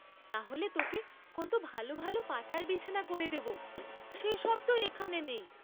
তাহলে তোকে কত ভাল ভাল পাতার বিছানা করে দেব, সে সব তো এখানে নেই।